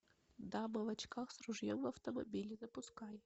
дама в очках с ружьем в автомобиле запускай